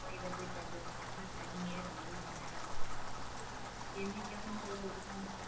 போய் இதை போய் சாப்பிடுவமான்னு, சனி ஞாயிறு அவங்களுக்கு நேரம். என்னைக்கும் அவுங்க உக்காந்து